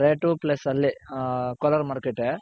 ಆ rate plus ಅಲ್ಲಿ ಕೋಲಾರ್ ಮಾರ್ಕೆಟ್ಟೇ.